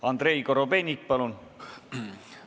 Andrei Korobeinik, palun!